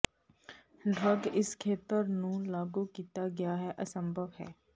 drug ਇਸ ਖੇਤਰ ਨੂੰ ਲਾਗੂ ਕੀਤਾ ਗਿਆ ਹੈ ਅਸੰਭਵ ਹੈ